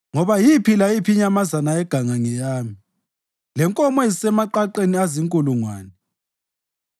ngoba yiphi layiphi inyamazana yeganga ngeyami, lenkomo ezisemaqaqeni azinkulungwane.